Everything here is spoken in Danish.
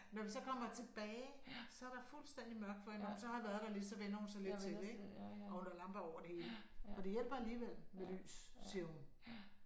Når vi så kommer tilbage så er der fuldstændig mørkt for hende når hun så har været der lidt så vænner hun sig lidt til det ik og hun har lamper over det hele og det hjælper alligevel med lys siger hun